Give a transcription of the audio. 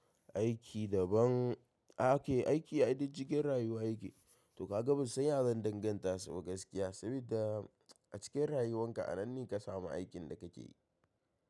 Aiki daban ake aiki ai duk cikin rayuwa yake, to ka ga ban san ya zan danganta su ba gaskiya saboda a cikin rayuwan ka anan ne ka samu aikin da ka ke yi.